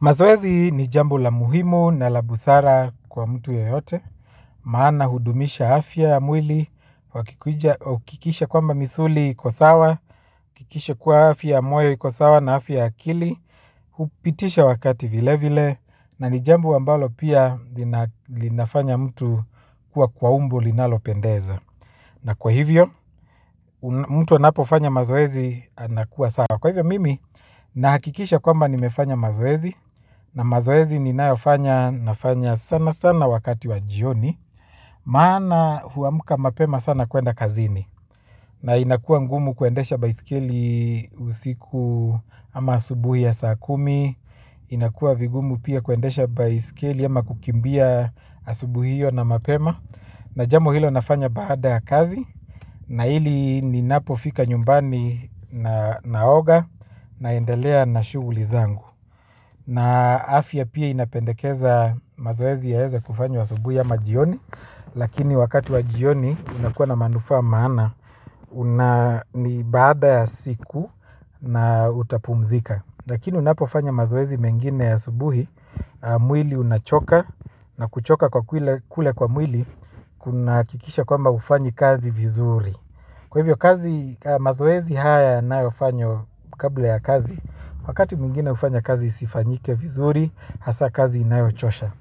Mazoezi ni jambo la muhimu na la busara kwa mtu yeyote, maana hudumisha afya ya mwili, huakikisha kwamba misuli iko sawa, huakikisha kuwa afya ya moyo iko sawa na afya ya akili, hupitisha wakati vile vile, na ni jambo ambalo pia linafanya mtu kuwa kwa umbo linalo pendeza. Na kwa hivyo, mtu anapofanya mazoezi anakuwa sawa. Kwa hivyo mimi, nahakikisha kwamba nimefanya mazoezi. Na mazoezi ninayofanya nafanya sana sana wakati wa jioni. Maana huamka mapema sana kuenda kazini. Na inakua ngumu kuendesha baiskeli usiku ama asubuhi ya saa kumi. Inakua vigumu pia kuendesha baiskeli ama kukimbia asubuhi hio na mapema. Na jambo hilo nafanya baada ya kazi na ili ninapofika nyumbani na naoga naendelea na shuguli zangu na afya pia inapendekeza mazoezi yaeze kufanywa asubuhi ama jioni lakini wakati wa jioni unakuwa na manufaa maana una ni baada ya siku na utapumzika, lakini unapofanya mazoezi mengine asubuhi mwili unachoka na kuchoka kule kwa mwili kunahakikisha kwamba haufanyi kazi vizuri hasa kazi inayochosha.